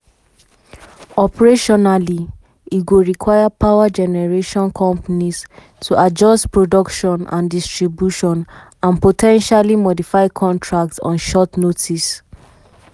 "operationally e go require power generation companies to adjust production and distribution and distribution and po ten tially modify contracts on short notice."